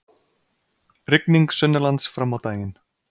Rigning sunnanlands fram á daginn